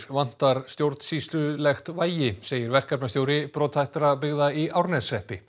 vantar stjórnsýslulegt vægi segir verkefnastjóri brotthættra byggða í Árneshreppi